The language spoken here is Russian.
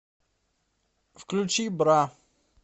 включи бра